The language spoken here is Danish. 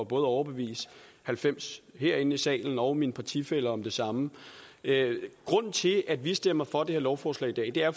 både at overbevise halvfems herinde i salen og mine partifæller om det samme grunden til at vi stemmer for det her lovforslag i dag er